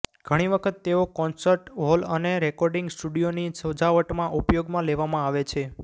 ઘણી વખત તેઓ કોન્સર્ટ હોલ અને રેકોર્ડિંગ સ્ટુડિયોની સજાવટમાં ઉપયોગમાં લેવામાં આવે છે